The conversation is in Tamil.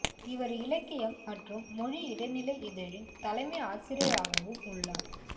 இவர் இலக்கியம் மற்றும் மொழி இடைநிலை இதழின் தலைமை ஆசிரியராகவும் உள்ளார்